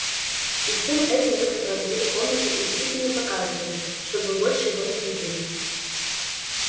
и всем этим вы сопроводили комнату уйти и не показываться чтобы вы больше его не видели